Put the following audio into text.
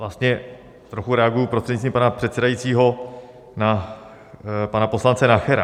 Vlastně trochu reaguji, prostřednictvím pana předsedajícího, na pana poslance Nachera.